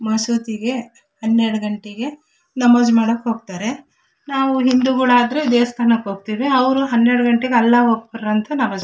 ಮಸೂತಿಗೆ ಹನ್ನೆರಡ ಗಂಟೆಗೆ ನಮಾಜ್ ಮಾಡಕ ಹೋಗತ್ತರೆ ನಾವು ಹಿಂದುಗಳು ಆದ್ರೆ ದೇವಸ್ಥಾನಕ್ಕೆ ಹೋಗತ್ತೀವಿ ಅವ್ರು ಹನ್ನೆರಡ ಗಂಟೆಗೆ ಅಲ್ಲಾ ಓ ಅಕ್ಬರ್ ಅಂತ ನಮಾಜ್.